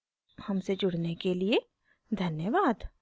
हमसे जुड़ने के लिए धन्यवाद